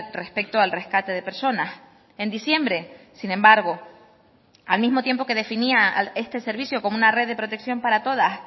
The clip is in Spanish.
respecto al rescate de personas en diciembre sin embargo al mismo tiempo que definía este servicio como una red de protección para todas